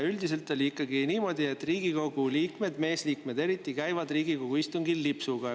Üldiselt oli ikkagi niimoodi, et Riigikogu liikmed, just meesliikmed, käisid Riigikogu istungil lipsuga.